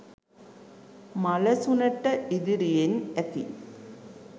මලසුනට ඉදිරියෙන් ඇති